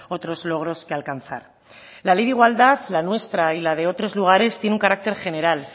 otros logros que alcanzar la ley de igualdad la nuestra y la de otros lugares tiene un carácter general